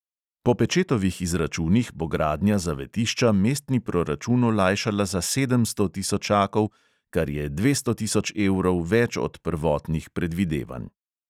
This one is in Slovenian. Po pečetovih izračunih bo gradnja zavetišča mestni proračun olajšala za sedemsto tisočakov, kar je dvesto tisoč evrov več od prvotnih predvidevanj.